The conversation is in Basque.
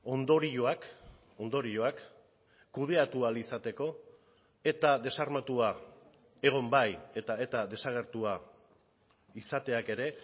ondorioak ondorioak kudeatu ahal izateko eta desarmatua egon bai eta eta desagertua izateak ere